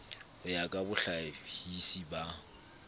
ho ya ka bohlahisi ba